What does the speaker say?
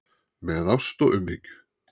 Með ást og umhyggju.